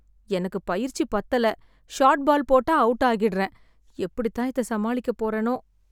எனக்கு பயிற்சி பத்தல. ஷாட் பால் போட்டா அவுட் ஆகிட்றேன். எப்படித் தான் இத சமாளிக்கப் போறேனோ!